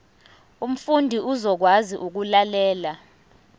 umfundi uzokwazi ukulalela